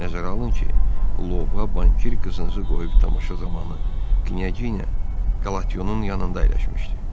Nəzərə alın ki, bu lovğa bankir qızınızı qoyub tamaşa zamanı Qniyeja Qalationun yanında əyləşmişdi.